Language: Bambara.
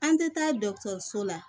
An tɛ taa dɔgɔtɔrɔso la